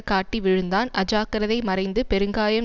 காட்டி விழுந்தான் அஜாக்கிரதை மறைந்து பெருங்காயம்